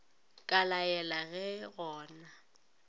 ka laela ge go na